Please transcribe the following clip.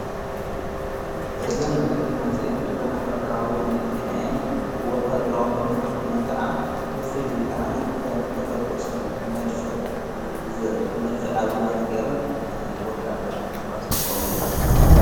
እዘን መኪናእዝእን ወታደራዊ መኪና እየን ወታድራዊ መኪና ኺነን ከዓ ብፍልዪ ኸዓኒ ኸም ተተኰስቲ ድመድፊዕ ኣብ ዝዋነን ጌይረን ወታደርምም ተኳስቲ ቖሙለን እየን።